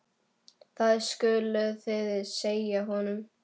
Það skuluð þið segja honum!